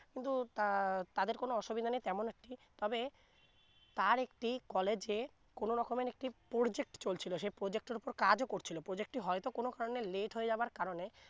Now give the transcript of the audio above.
কিন্তু তা তাদের কোন অসুবিধা নেই তেমন একটি তবে তার একটি college এ কোন রকমের একটি project চলছিলো সে project এর উপর কাজও করছিলো project টি হয়তো কোন কারনে late হয়ে যাবার কারনে